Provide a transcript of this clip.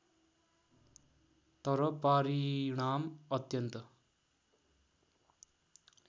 तर पारिणाम अत्यन्त